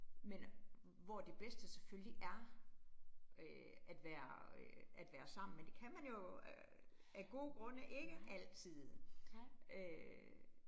Men øh hvor det bedste selvfølgelig er øh at være øh at være sammen, men det kan man jo øh af gode grunde ikke altid øh